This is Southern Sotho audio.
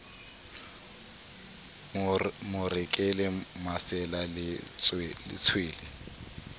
mo rekele masela le tshwele